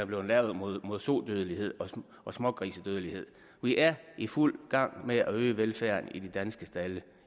blevet lavet mod mod sodødelighed og smågrisedødelighed vi er i fuld gang med at øge velfærden i de danske stalde